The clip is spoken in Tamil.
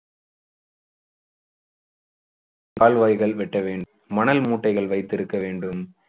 கால்வாய்கள் வெட்ட வேண்டும் மணல் மூட்டைகள் வைத்திருக்க வேண்டும்.